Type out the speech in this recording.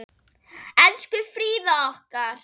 Elsku Fríða okkar.